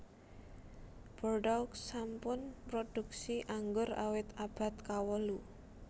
Bordeaux sampun mrodhuksi anggur awit abad kawolu